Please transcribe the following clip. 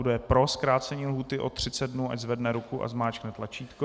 Kdo je pro zkrácení lhůty o 30 dnů, ať zvedne ruku a zmáčkne tlačítko.